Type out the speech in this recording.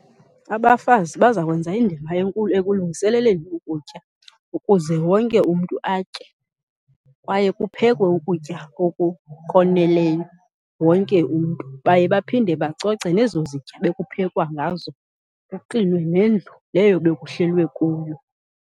Abafazi bazakwenza indima enkulu ekulungiseleleni ukutya ukuze wonke umntu atye, kwaye kuphekwe ukutya oku koneleyo wonke umntu. Baye baphinde bacoce nezo zitya bekuphekwa ngazo, kuklinwe nendlu leyo bekuhlelwe kuyo.